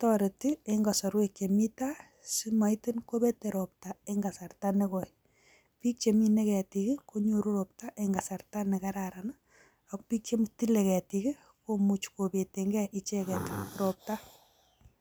toreti kasarta nemii tai si mapet ropta bii, che mine keti ko nyoru ropta ing kasarta negoi ak pich che tile ketik komuuch kopet ropta ing kasarta negoi